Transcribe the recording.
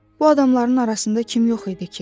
Bu adamların arasında kim yox idi ki?